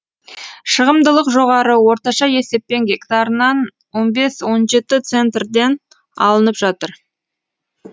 шығымдылық жоғары орташа есеппен гектарынан он бес он жеті центрден алынып жатыр